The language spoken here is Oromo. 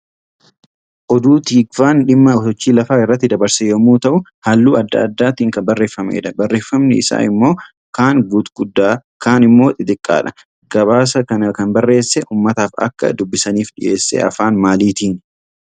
Oduu tiikvaan dhimma sochii lafaa irratti dabarse yommuu ta'u, halluu adda addaatii kan barreeffamedha. Barreeffamni isaa immoo kaan gutguddaa kaan immoo xixiqqoodha. Gabaasa kana kan barreessee uummataaaf akka dubbisaniif dhiyeesse afaan maalitiini?